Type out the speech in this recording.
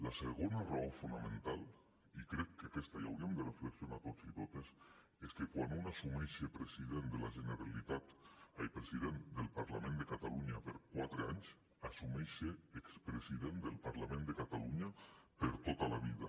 la segona raó fonamental i crec que en aquesta hi hauríem de reflexionar tots i totes és que quan un assumeix ser president del parlament de catalunya per quatre anys assumeix ser expresident del parlament de catalunya per tota la vida